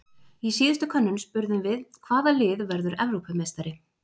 Í síðustu könnun spurðum við- Hvaða lið verður Evrópumeistari?